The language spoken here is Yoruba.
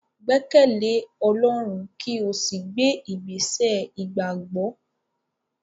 Gbẹkẹle Ọlọrun ki o si gbe igbesẹ igbagbọ!